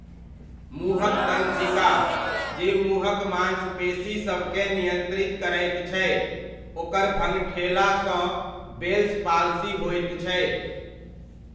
मुँहक तन्त्रिका, जे मुँहक मांसपेशीसभकेँ नियन्त्रित करैत छै, ओकर भङठेला सँ बेल्स पाल्सी होइत छै।